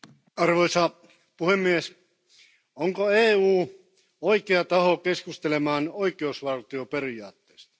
Arvoisa puhemies, onko EU oikea taho keskustelemaan oikeusvaltioperiaatteesta?